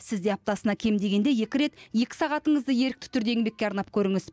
сіз де аптасына кем дегенде екі рет екі сағатыңызды ерікті түрде еңбекке арнап көріңіз